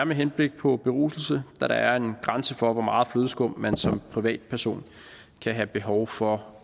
med henblik på beruselse da der er en grænse for hvor meget flødeskum man som privatperson kan have behov for